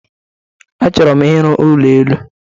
Achọrọ m ịrụ ụlọ elu